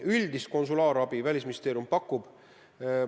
Üldist konsulaarabi Välisministeerium pakub.